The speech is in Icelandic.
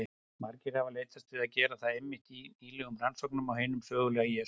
Margir hafa leitast við að gera það einmitt í nýlegum rannsóknum á hinum sögulega Jesú.